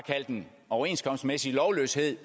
at den overenskomstmæssige lovløshed